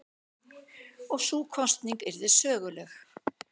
Og sú kosning yrði söguleg.